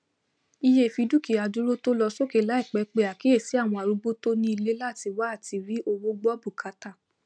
iye ìfidúkìádúró tó lọ sókè láìpẹ pe àkíyèsí àwọn arúgbó tó ní ilé latí wá àtirí owó gbọ bùkátà